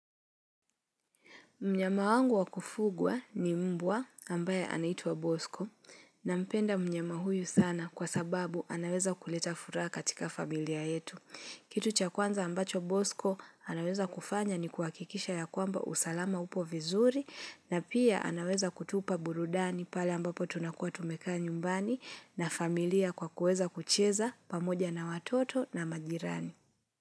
Mnyama wangu wakufugwa ni mbwa ambaye anaitwa Bosco na mpenda mnyama huyu sana kwa sababu anaweza kuleta furaha katika familia yetu. Kitu cha kwanza ambacho Bosco anaweza kufanya ni kuhakikisha ya kwamba usalama upo vizuri na pia anaweza kutupa burudani pale ambapo tunakuwa tumekaa nyumbani na familia kwa kueza kucheza pamoja na watoto na majirani.